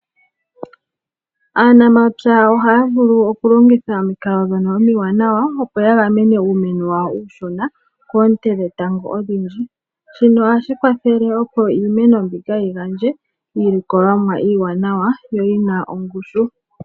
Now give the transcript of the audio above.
Aanamapya ohaya vulu okulongitha omikalo dhono omiwanawa opo ya gamene uumeno wawo uushona koonte dhetango odhindji. Shino ohashi kwathele opo iimeno mbika yi gandje iilikolomwa iiwanawa yo oyina ongushu.